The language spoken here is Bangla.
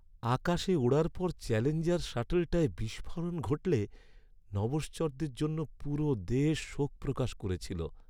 আকাশে ওড়ার পর চ্যালেঞ্জার শাটলটায় বিস্ফোরণ ঘটলে নভশ্চরদের জন্য পুরো দেশ শোক প্রকাশ করেছিল।